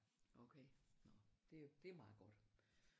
Okay nåh det det meget godt